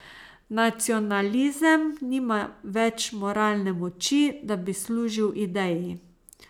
Nacionalizem nima več moralne moči, da bi služil ideji.